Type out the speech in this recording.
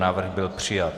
Návrh byl přijat.